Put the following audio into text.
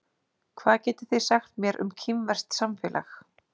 Hvað getið þið sagt mér um kínverskt samfélag?